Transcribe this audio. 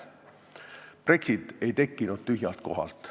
Brexit ei tekkinud tühjalt kohalt.